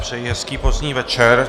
Přeji hezký pozdní večer.